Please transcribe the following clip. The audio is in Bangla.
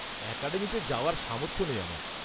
-অ্যাকাডেমিতে যাওয়ার সামর্থ্য নেই আমার।